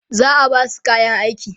za'a Basu kayan aiki